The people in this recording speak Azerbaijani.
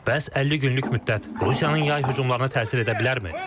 Bəs 50 günlük müddət Rusiyanın yay hücumlarına təsir edə bilərmi?